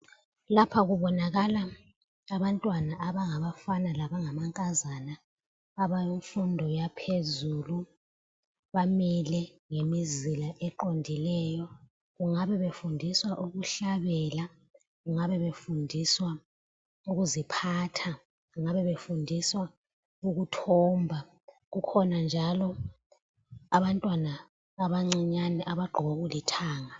Lapha kubonakala abantwana abangabafana labangamankazana, abemfundo yaphezulu, bamile ngemizila eqondileyo. Kungabe befundiswa ukuhlabela, kungabe befundiswa ukuziphatha, kungabe befundiswa ukuthomba. Kukhona njalo abantwana abancinyane abagqoke okulithanga .